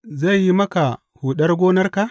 Zai yi maka buɗar gonarka?